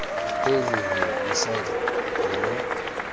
hei hei hei mosadi nna